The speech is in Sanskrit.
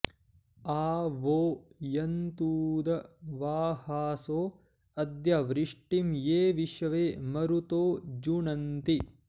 आ वो॑ यन्तूदवा॒हासो॑ अ॒द्य वृ॒ष्टिं ये विश्वे॑ म॒रुतो॑ जु॒नन्ति॑